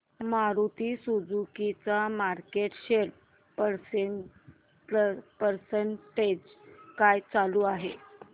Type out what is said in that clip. Maruti Suzuki चा market share percentage काय चालू आहे